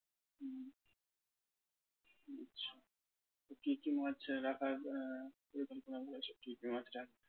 কি কি মাছ রাখার আহ এরকম plan রয়েছে? কি কি মাছ